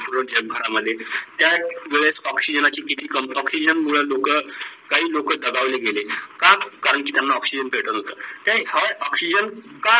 घरा मध्ये. त्या वेड ऑक्सिजनना ची किती काम ऑक्सिजन ना मुढे लोक किती काही लोक दबावले गेले. का? करण की त्यांना ऑक्सिजन भेटत नव्हता. तर हा ऑक्सिजन का